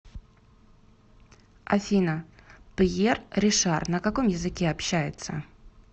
афина пьер ришар на каком языке общается